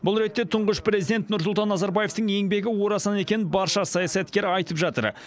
бұл ретте тұңғыш президент нұрсұлтан назарбаевтың еңбегі орасан екенін барша саясаткер айтып жатыр